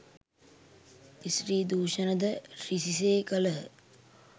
ස්ත්‍රී දුෂණ ද රිසි සේ කළහ.